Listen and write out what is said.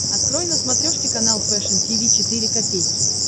открой на смотрешке канал фэшн ти ви четыре ка